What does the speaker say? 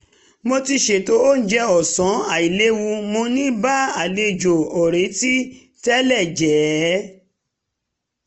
mo ti ṣètò oúnjẹ ọ̀sán àìléwu mo ní bá àlejò òretí tẹ́lẹ̀ jẹ ẹ́